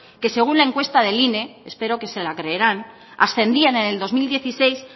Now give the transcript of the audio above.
que según la encuesta del ine espero que se la creerán ascendía en el dos mil dieciséis